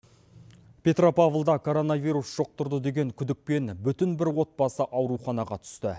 петропавлда коронавирус жұқтырды деген күдікпен бүтін бір отбасы ауруханаға түсті